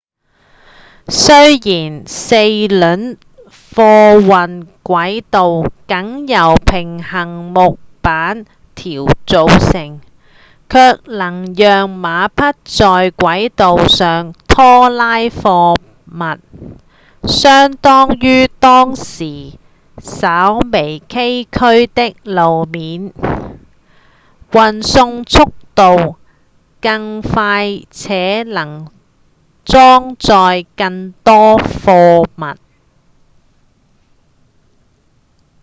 雖然四輪貨運軌道僅由平行木板條組成卻能讓馬匹在軌道上拖拉貨物相較於當時稍微崎嶇的路面運送速度更快且能裝載更多貨物